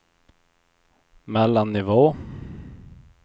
mellannivå